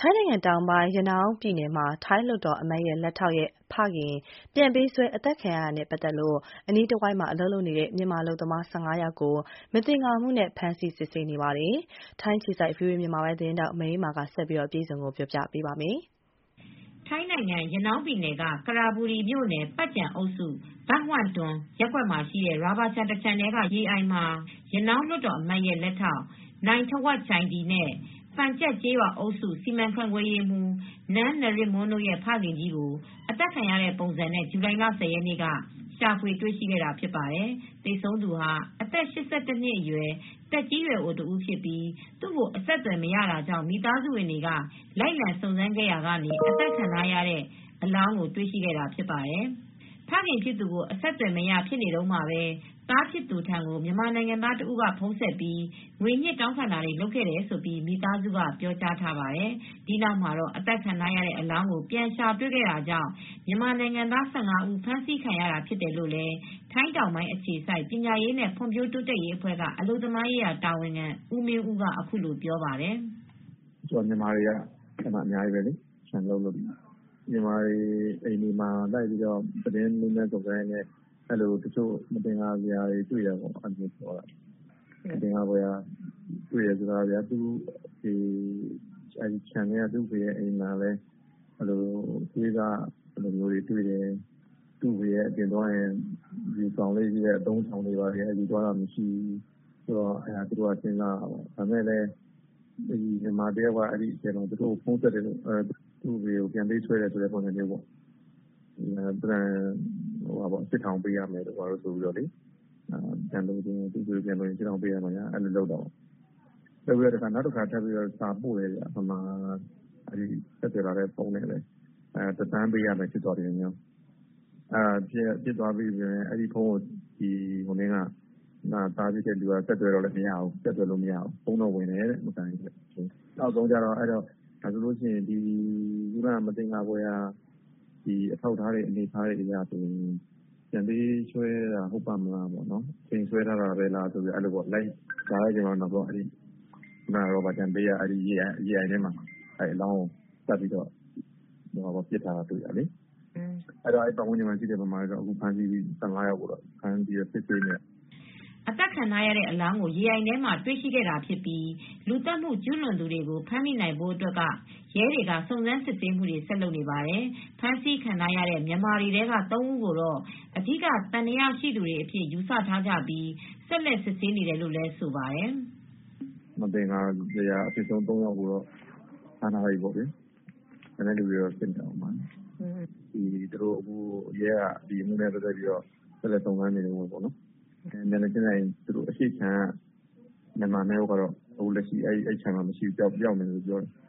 ထိုင်းနိုင်ငံတောင်ပိုင်း၊ ရနောင်းပြည်နယ်မှာ ထိုင်းလွှတ်တော်အမတ်ရဲ့ လက်ထောက်ရဲ့ဖခင်ပြန်ပေးဆွဲအသတ်ခံရတာနဲ့ပတ်သက်လို့ အနီးတဝိုက်မှာ အလုပ်လုပ်နေတဲ့ မြန်မာ ၁၅ ယောက်ကို မသင်္ကာမှုနဲ့ ဖမ်းဆီးစစ်ဆေးနေပါတယ်။ ထိုင်းအခြေစိုက် ဗီအိုအေသတင်းထောက် မအေးအေးမာက ဆက်ပြီး အပြည့်အစုံ တင်ပြပေးထားပါတယ်။ ထိုင်းနိုင်ငံ ရနောင်းပြည်နယ် ကရပူရီမြို့နယ်၊ ပတ်ကျန်အုပ်စု ဘန့်ဟတ်တွန်ရပ်ကွက်မှာရှိတဲ့ ရာဘာခြံတခြံထဲကရေအိုင်မှာ ရနောင်းလွှတ်တော်အမတ်ရဲ့လက်ထောက် နိုင်းထဝပ်ကျိုင်ဒီနဲ့ ပတ်ကျန်ကျေးရွာအုပ်စုစီမံခန့်ခွဲရေးမှူး နန်းနရစ်မွန်းတို့ရဲ့ ဖခင်ကြီးကို အသတ်ခံရတဲ့ပုံစံနဲ့ ဇူလိုင်လ ၁၀ ရက်နေ့က ရှာဖွေတွေ့ရှိခဲ့ပါတယ်။ သေဆုံးသူဟာ အသက် ၈၁ နှစ်အရွယ် သက်ကြီးရွယ်အိုတဦးဖြစ်ပြီး သူ့ကို အဆက်သွယ်မရတာကြောင့် မိသားစုဝင်တွေက လိုက်လံစုံစမ်းခဲ့ကြရာက အသတ်ခံထားရတဲ့ပုံ အလောင်းကို တွေ့ရှိခဲ့တာဖြစ်ပါတယ်။ ဖခင်ဖြစ်သူကို အဆက်အသွယ်မရဖြစ်နေတုန်းမှာပဲ သားဖြစ်သူထံကို မြန်မာနိုင်ငံသားတဦး ဖုန်းဆက်ပြီး ငွေညှစ်တောင်းခံတာတွေလုပ်ခဲ့တယ်လို့ မိသားစုက ပြောကြားထားပါတယ်။ ဒီနောက်မှာ တော့ အသတ်ခံထားရတဲ့ အလောင်းကိုပြန်ရှာတွေ့ခဲ့တာကြောင့် မြန်မာနိုင်ငံသား ၁၅ ဦး ဖမ်းဆီးခံရတာဖြစ်တယ်လို့ ထိုင်းတောင်ပိုင်းအခြေစိုက် ပညာရေးနဲ့ဖွံ့ဖြိုးတိုးတက်ရေးအဖွဲ က အလုပ်သမားရေးတာဝန်ခံ ဦးမင်းဦးက အခုလိုပြောပါတယ်။ “အဲဒီမှာက မြန်မာတွေကအများကြီးလေ။ မြန်မာတွေအိမ်တွေမှာ လိုက်ပြီးမေးမြန်းစုံစမ်းရင်းနဲ့ မသင်္ကာစရာတွေ တွေ့တယ်ပေါ့နော်။ မသင်္ကာစရာတွေ့တယ်ဆိုတာက သံသယဖြစ်နေတဲ့ ခြံထဲက သူ့အဖေရဲ့အိမ်မှာလည်း သွေးစတွေ တွေ့တာမျိုး၊ သူ့အဖေက အပြင်သွားရင် ယူဆောင်သွားတဲ့အသုံးအဆောင်တွေကိုလည်း ယူဆောင်သွားတာမရှိဘူး။ နောက် မြန်မာတယောက်က သူ့ကို ဖုန်းဆက်တယ်။ သူ့အဖေကို ပြန်ပေးဆွဲတယ်ဆိုတဲ့ပုံစံနဲ့ ၈ ထောင်ပေးရမယ်ဆိုတာမျိုး၊ နောက်တခါ မြန်မာပြည်သားက အဲဒီဖုန်းနဲ့ပဲ စာထပ်ပို့တယ်။ ဘတ် တသန်းပေးရမယ်ဆိုတာမျိုးတွေ ရေးထားတယ်။ အဲဒီဖုန်းကို သားဖြစ်သူက ဆက်သွယ်တော့လည်း ဆက်သွယ်လို့မရဘူး။ ဖုန်းတော့ ဝင်တယ်တဲ့။ ခုနက မသင်္ကာဖွယ်ရာအထောက်အထားတွေအရ ပြန်ပေးဆွဲတာဟုတ်ရဲ့လားပေါ့။ အချိန်ဆွဲသလားဆိုပြီး လိုက်ရှာတော့ ရာဘာခြံဘေးက ရေအိုင်ထဲမှာအလောင်းကို ပစ်ထားတာတွေ့ ရတယ်။ အဲဒါကြောင့် အနီးအနား ပတ်ဝန်းကျင်က မြန်မာ ၁၅ ယောက်လောက်ကို ဖမ်းဆီးစစ်ဆေးနေတယ်။” အသတ်ခံထားရတဲ့အလောင်းကိုရေအိုင်ထဲမှာ တွေ့ရှိခဲ့တာဖြစ်ပြီး လူသတ်မှုကျူးလွန်သူတွေကို ဖမ်းမိနိုင်ဖို့အတွက်ကတော့ ရဲတွေက ဆက်ပြီး စုံစမ်းစစ်ဆေးနေပါတယ်။ ဖမ်းဆီးခံထားရတဲ့မြန်မာတွေထဲက ၃ ဦးကိုတော့ အဓိကသံသယရှိသူတွေအဖြစ် ယူဆထားကြပြီး ဆက်လက်စစ်ဆေးနေတယ်လို့ဆိုပါတယ်။ “မသင်္ကာစရာအဖြစ်ဆုံး ၃ ယောက်ကိုတော့ ဖမ်းထားတယ်။ ကျန်တဲ့သူတွေကိုလည်း ဆက်စစ်နေပါတယ်။ အဲဒီခြံရဲ့ မျက်နှာချင်းဆုင်အရှေ့မှာရှိတဲ့ခြံက မြန်မာ၂ ယောက်ကလည်း ပျောက်နေတယ်ပြောတယ်။”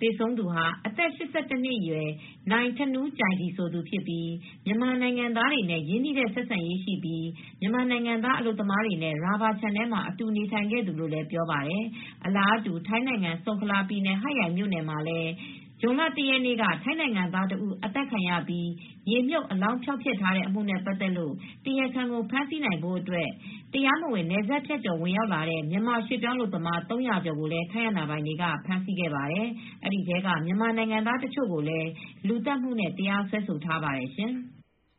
သေဆုံးသူဟာ အသက် ၈၁ နှစ်အရွယ် နိုင်းထနူးကျိုင်ဒီ ဆိုသူဖြစ်ပြီး မြန်မာနိုင်ငံသားတွေနဲ့ရင်းနှီးတဲ့ဆက်ဆံရေးရှိပြီး မြန်မာနိုင်ငံသားအလုပ်သမားတွေနဲ့ ရာဘာခြံထဲမှာ အတူနေထိုင်နေတဲ့သူလို့လည်း ပြောပါတယ်။ အလားတူ ထိုင်းနိုင်ငံ ဆုန်ခလာပြည်နယ် ဟတ်ယိုင်မြို့နယ်မှာ ဇွန်လ ၁ ရက်က ထိုင်းနိုင်ငံသား ၁ ဦးသတ်ပြီး မြေမြှုပ်အလောင်းဖျောက်တဲ့အမှုနဲ့ပတ်သက်လို့ တရားခံကိုဖမ်းဆီးနိုင်ဖို့အတွက် တရားမဝင်နယ်စပ်ဖြတ်ကျော် ဝင်ရောက်လာတဲ့ မြန်မာရွှေ့ပြောင်းအလုပ်သမား ၃၀၀ ကျော်ကို ထိုင်းအာဏာပိုင်တွေကဖမ်ဆီးခဲ့ပါတယ်။ ဒီထဲက မြန်မာနိုင်ငံသားတချို့ကိုလည်း လူသတ်မှုနဲ့ တရားစွဲထားပါတယ်ရှင်။